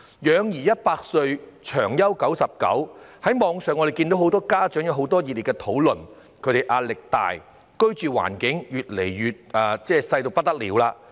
養兒一百歲，長憂九十九，我們可在網上看到很多家長熱烈討論壓力大、居住環境越來越小等問題。